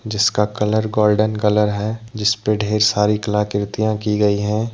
जिसका colour golden colour है जिसपे ढेर सारी कलाकृतियों की गई हैं।